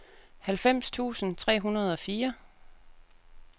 halvfems tusind tre hundrede og fire